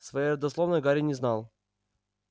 своей родословной гарри не знал